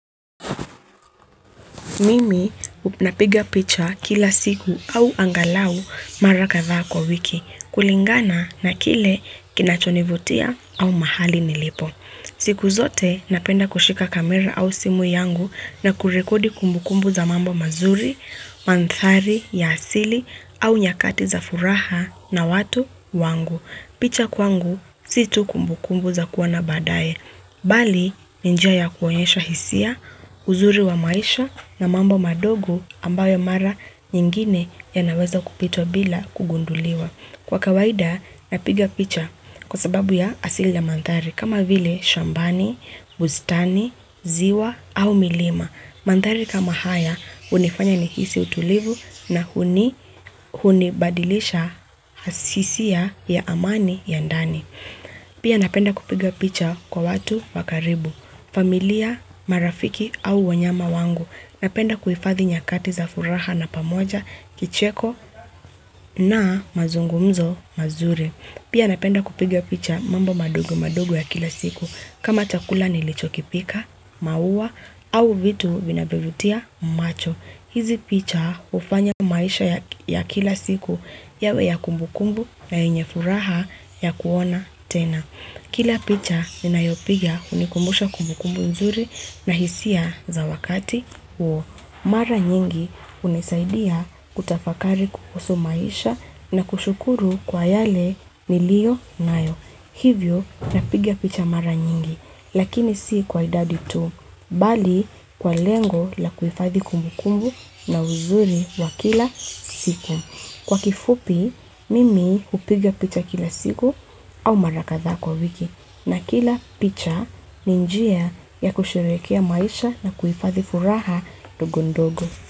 Mimi napiga picha kila siku au angalau mara kadhaa kwa wiki kulingana na kile kinachonivutia au mahali nilipo. Siku zote napenda kushika kamera au simu yangu na kurekodi kumbukumbu za mambo mazuri, manthari ya asili au nyakati za furaha na watu wangu. Picha kwangu sio tu kumbukumbu za kuona badaye, bali njia ya kuonyesha hisia, uzuri wa maisha na mambo madogo ambayo mara nyingine yanaweza kupitwa bila kugunduliwa. Kwa kawaida napiga picha kwa sababu ya asili ya manthari kama vile shambani, bustani, ziwa au milima. Manthari kama haya hunifanya nihisi utulivu na hunibadilisha asisi ya amani ya ndani. Pia napenda kupiga picha kwa watu wakaribu, familia, marafiki au wanyama wangu. Napenda kuifadhi nyakati za furaha na pamoja, kicheko na mazungumzo mazuri. Pia napenda kupiga picha mambo madogo madogo ya kila siku. Kama chakula nilichokipika, maua au vitu vinaviovutia macho. Hizi picha hufanya maisha ya kila siku yawe ya kumbukumbu na yenye furaha ya kuona tena. Kila picha ninayopiga hunikumbusha kumbukumbu nzuri na hisia za wakati huo. Mara nyingi hunisaidia kutafakari kuhusu maisha na kushukuru kwa yale niliyo nayo. Hivyo napiga picha mara nyingi lakini si kwa idadi tu. Bali kwa lengo la kuhifadhi kumbu kumbu na uzuri wa kila siku. Kwa kifupi, mimi hupiga picha kila siku au mara kadhaa kwa wiki. Na kila picha ni njia ya kusherekea maisha na kuhifadhi furaha ndogo ndogo.